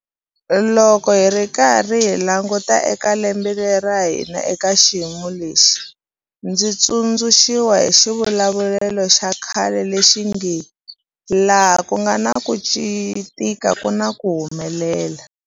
Loko hi karhi hi languta eka lembe ra hina eka xiyimo lexi, ndzi tsundzuxiwa hi xivulavulelo xa khale lexi nge 'laha ku nga na ku tika ku na ku humelela'.